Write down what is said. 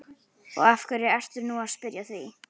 Og af hverju ertu nú að spyrja að því?